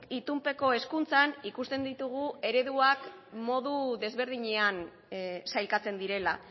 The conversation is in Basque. itunpeko hezkuntzan ikusten ditugu ereduak modu desberdinean sailkatzen direla